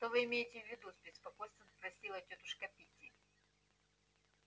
что вы имеете в виду с беспокойством спросила тётушка питти